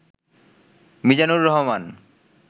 Mizanur Rahman